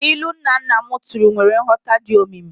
Ilu nnanna m tụrụ nwere nghọta dị omimi.